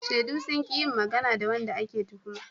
Shaidu sun ki yin magana ga wanda ake tuhuma.